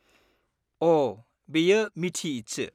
अ! बेयो मीठी ईदसो।